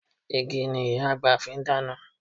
Igi ni Ìyá àgbà fi ń dáná